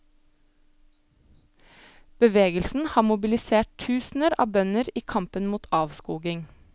Bevegelsen har mobilisert tusener av bønder i kampen mot avskoging.